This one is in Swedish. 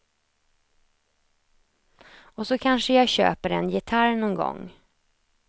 Och så kanske jag köper en gitarr någon gång.